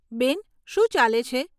બેન, શું ચાલે છે?